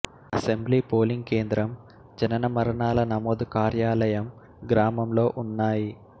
assembly polling కేంద్రం జనన మరణాల నమోదు కార్యాలయం గ్రామంలో ఉన్నాయి